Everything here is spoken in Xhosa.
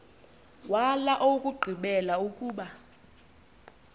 wala owokugqibela ukuba